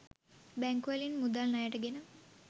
බැංකුවලින් මුදල් ණයට ගෙන